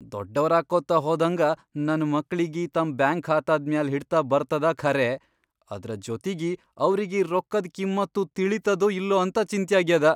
ದೊಡ್ಡವರಾಕ್ಕೊತ ಹೋದ್ಹಂಗ ನನ್ ಮಕ್ಳಿಗಿ ತಮ್ ಬ್ಯಾಂಕ್ ಖಾತಾದ್ ಮ್ಯಾಲ್ ಹಿಡ್ತ ಬರ್ತದ ಖರೇ ಆದ್ರ ಜೊತಿಗಿ ಅವ್ರಿಗಿ ರೊಕ್ಕದ್ ಕಿಮ್ಮತ್ನೂ ತಿಳಿತದೋ ಇಲ್ಲೊ ಅಂತ ಚಿಂತ್ಯಾಗ್ಯಾದ.